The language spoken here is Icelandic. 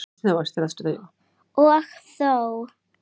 Og þó.